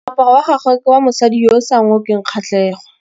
Moaparô wa gagwe ke wa mosadi yo o sa ngôkeng kgatlhegô.